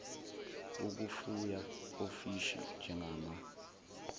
ukufuya ofishi njengama